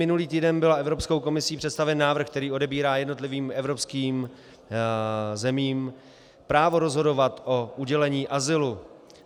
Minulý týden byl Evropskou komisí představen návrh, který odebírá jednotlivým evropským zemím právo rozhodovat o udělení azylu.